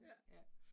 Ja